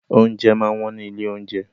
Oúnjẹ máa ń wọ́n ní ilé-oúnjẹ.